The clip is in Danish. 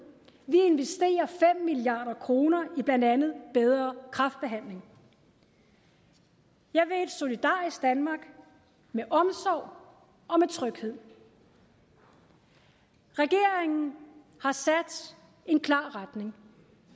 vi investerer fem milliard kroner i blandt andet bedre kræftbehandling jeg vil et solidarisk danmark med omsorg og med tryghed regeringen har sat en klar retning